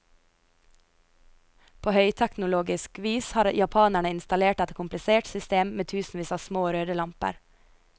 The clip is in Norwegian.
På høyteknologisk vis har japanerne installert et komplisert system med tusenvis av små, røde lamper.